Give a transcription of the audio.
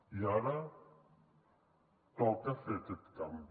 i ara toca fer aquest canvi